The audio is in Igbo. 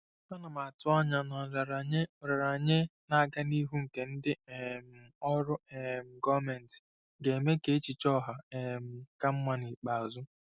Ana m atụ anya na nraranye nraranye na-aga n'ihu nke ndị um ọrụ um gọọmentị ga-eme ka echiche ọha um ka mma n'ikpeazụ.